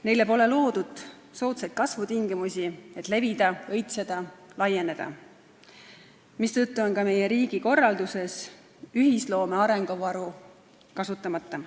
Neile pole loodud soodsaid kasvutingimusi, et levida ja õitseda, mistõttu on ka meie riigikorralduses ühisloome arenguvaru kasutamata.